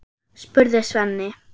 spurði Svenni.